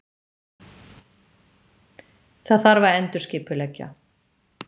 Það þarf að endurskipuleggja.